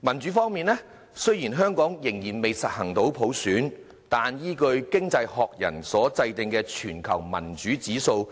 民主方面，雖然香港仍未實行普選，但依據《經濟學人》所制訂的全球民主指數，